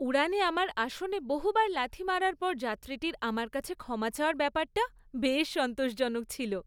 উড়ানে আমার আসনে বহুবার লাথি মারার পর যাত্রীটির আমার কাছে ক্ষমা চাওয়ার ব্যাপারটা বেশ সন্তোষজনক ছিল।